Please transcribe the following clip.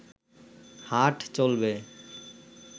হাট চলবে